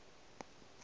a e na le dišupo